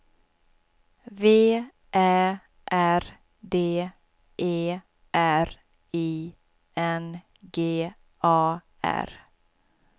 V Ä R D E R I N G A R